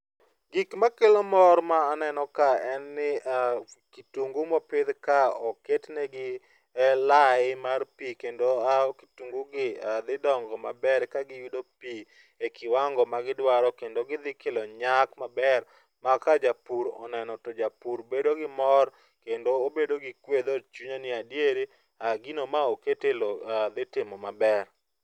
Gik makelo mor ma aneno ka en ni kitungu mopidh ka oket negi lai mar pi kendo kitungugi dhi dongo maber ka giyudo pi e kiwango ma gidwaro kendo gidhi kelo nyak maber ma ka japur oneno to japur bedo gi mor kendo obedo gi kwe e dhot chunye ni adieri gino ma okete lowo dhi timo maber.